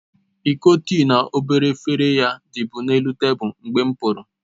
Iko tịị na obere efere ya dibu n'elu tabulu mgbe m'puru